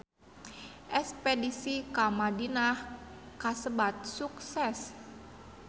Espedisi ka Madinah kasebat sukses